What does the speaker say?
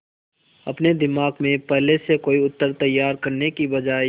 अपने दिमाग में पहले से कोई उत्तर तैयार करने की बजाय